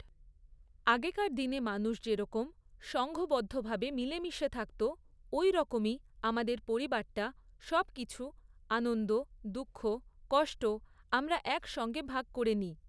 আগেকার দিনে মানুষ যেরকম সংঘবদ্ধভাবে মিলেমিশে থাকত ওইরকমই আমাদের পরিবারটা সব কিছু, আনন্দ, দুঃখ, কষ্ট আমরা একসঙ্গে ভাগ করে নিই।